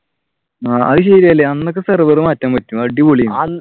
ആഹ് അത് ശരിയാണല്ലേ അന്നൊക്കെ server മാറ്റാൻ പറ്റും അടിപൊളിയായിരുന്നു.